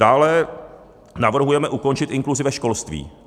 Dále navrhujeme ukončit inkluzi ve školství.